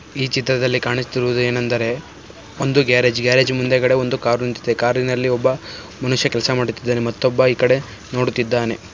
ಈ ಚಿತ್ರದಲ್ಲಿ ಕಾಣಿಸುತ್ತಿರುವುದು ಏನೆಂದರೆ ಒಂದು ಗ್ಯಾರೇಜ್ ಗ್ಯಾರೇಜ್ ಮುಂದೆಗಡೆ ಒಂದು ಕಾರು ನಿಂತಿದೆ. ಕಾರಿ ನಲ್ಲಿ ಒಬ್ಬ ಮನುಷ್ಯ ಕೆಲಸ ಮಾಡುತ್ತಿದ್ದಾನೆ. ಮತೊಬ್ಬ ಇಕಡೆ ನೋಡುತ್ತಿದ್ದಾನೆ.